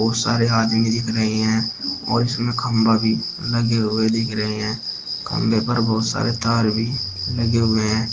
बहोत सारे आदमी दिख रहे हैं और इसमें खंबा भी लगे हुए दिख रहे हैं खंभे पर बहोत सारे तार भी लगे हुए हैं।